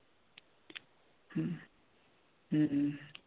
हम्म हम्म हम्म